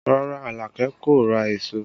Rárá, Alake kò ra èso